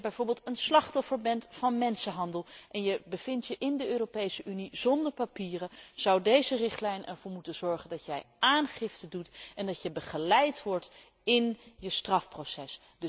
Als je bijvoorbeeld een slachtoffer bent van mensenhandel en je bevindt je zonder papieren in de Europese Unie, zou deze richtlijn ervoor moeten zorgen dat je aangifte doet en dat je begeleid wordt in je strafproces.